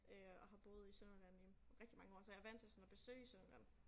Øh har boet i Sønderjylland i rigtig mange år så jeg vant til sådan at besøge Sønderjylland